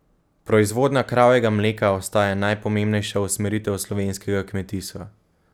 Proizvodnja kravjega mleka ostaja najpomembnejša usmeritev slovenskega kmetijstva.